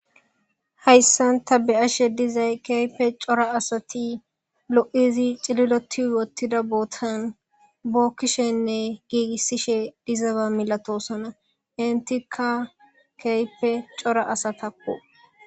Hayssan ta betishe dizay keype cora asati lo7izi cililoti wottida bootan bookkishenne giigissishe dizaba milatosona intika keype cora asatakko.